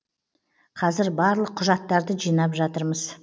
қазір барлық құжаттарды жинап жатырмыз